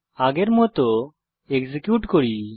আগের মত এক্সিকিউট করি